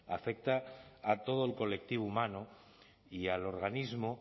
afecta a todo el colectivo humano y al organismo